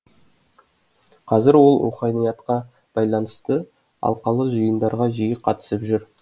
қазір ол руханиятқа байланысты алқалы жиындарға жиі қатысып жүр